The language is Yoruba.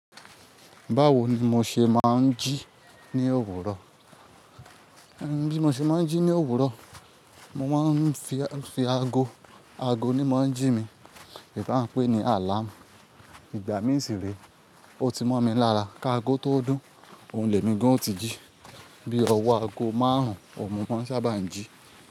Báwo ni mo ṣe máa ń jí ní òwúrọ̀? Bí mo ṣe máa ń jí ní òwúrọ̀, mo máa ń fi a fi aago, aago ni mo ń jí mi, ìbá ń pè ní àlám. Ìgbà mìí sì re, ó ti mọ́ mi lára ká aago tó dùn, òun lè mi gan-an o ti jí. Bí ọwọ́ aago máà rúń, òun mọ́ mọ ń ṣábà ń jí.